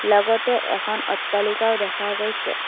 লগতে এখন অট্টালিকাও দেখা গৈছে।